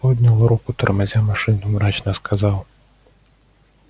поднял руку тормозя машину мрачно сказал